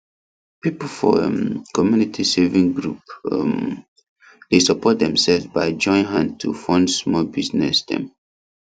people for um community saving group um dey support themselves by join hand to fund small business dem